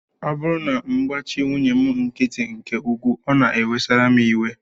Ọ bụrụ na m gbachi nwunye m nkịtị nke ukwuu, ọ na-ewesara m iwe